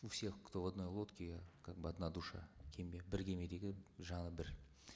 у всех кто в одной лодке как бы одна душа кеме бір кемедегі жаны бір